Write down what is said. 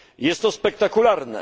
Jest to spektakularne.